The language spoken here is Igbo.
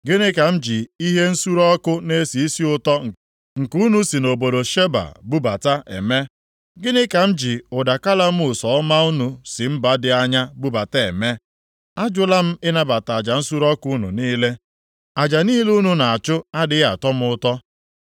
Gịnị ka m ji ihe nsure ọkụ na-esi isi ụtọ nke unu si nʼobodo Sheba bubata, eme? Gịnị ka m ji ụda kalamus ọma unu si mba dị anya bubata eme? Ajụla m ịnabata aja nsure ọkụ unu niile. Aja niile unu na-achụ adịghị atọ m ụtọ.”